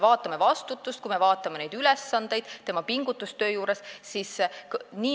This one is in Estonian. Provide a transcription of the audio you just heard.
Vaatame vastutust, vaatame ülesandeid, pingutust töö juures.